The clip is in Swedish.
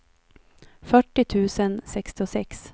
fyrtio tusen sextiosex